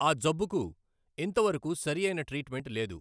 ఆ జబ్బుకు ఇంతవరకు సరియైన ట్రీట్ మెంట్ లేదు.